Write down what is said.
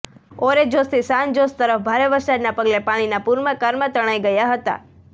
ઓરેજોસથી San Jose તરફ ભારે વરસાદના પગલે પાણીના પૂરમાં કારમાં તણાઈ ગયાં હતાં